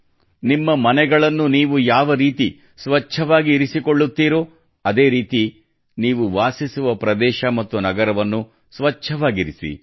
ನಿಮ್ಮ ಮನೆಗಳನ್ನು ನೀವು ಯಾವರೀತಿ ಸ್ವಚ್ಛವಾಗಿ ಇರಿಸಿಕೊಳ್ಳುತ್ತೀರೋ ಅದೇ ರೀತಿ ನೀವು ವಾಸಿಸುವ ಪ್ರದೇಶ ಮತ್ತು ನಗರವನ್ನು ಸ್ವಚ್ಛವಾಗಿರಿಸಿ